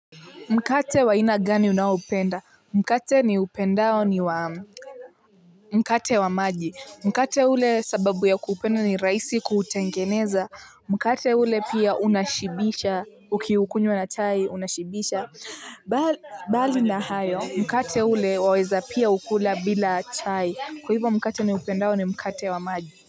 Mkate wa aina gani unaupenda mkate ni upendao ni wa mkate wa maji mkate ule sababu ya kupenda ni raisi kutengeneza mkate ule pia unashibisha ukiukunywa na chai unashibisha bali na hayo mkate ule waweza pia ukula bila chai kwa hivo mkate ni upendao ni mkate wa maji.